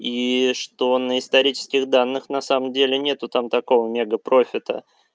и что на исторических данных на самом деле нету там такого мега профита